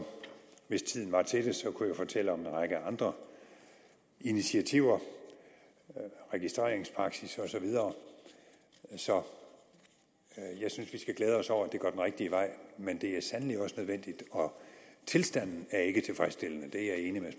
hvis tiden var til det kunne jeg fortælle om en række andre initiativer registreringspraksis og så videre så jeg synes vi skal glæde os over at det går den rigtige vej men det er sandelig også nødvendigt og tilstanden er ikke tilfredsstillende det er